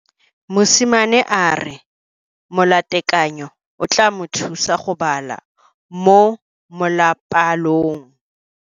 Mosimane a re molatekanyo o tla mo thusa go bala mo molapalong.